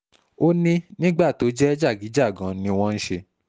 ó ní nígbà tó jẹ́ jàgíjàgan ni wọ́n ń ṣe